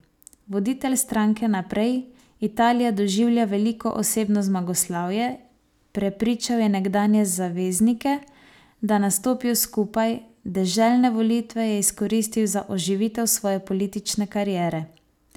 Voditelj stranke Naprej, Italija doživlja veliko osebno zmagoslavje, prepričal je nekdanje zaveznike, da nastopijo skupaj, deželne volitve je izkoristil za oživitev svoje politične kariere.